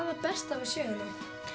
það besta við söguna